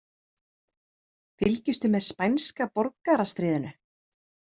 Fylgistu með spænska borgarastríðinu?